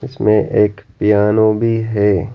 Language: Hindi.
इसमें एक पियानो भी है।